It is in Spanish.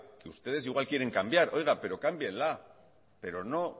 que ustedes igual quieren cambiar oiga pero cámbienla pero no